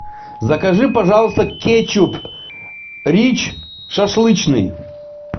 закажи пожалуйста кетчуп рич шашлычный